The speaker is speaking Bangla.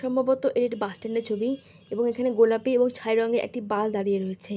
সম্ভবত এড বাস স্ট্যান্ড এর ছবি এবং এখানে গোলাপি ও ছাই রঙের একটি বাস দাঁড়িয়ে রয়েছে।